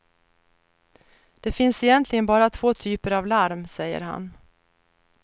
Det finns egentligen bara två typer av larm, säger han.